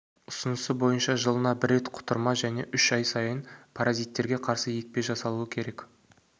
ұсынысы бойынша жылына бір рет құтырма және үш ай сайын паразиттерге қарсы екпе жасалуы керек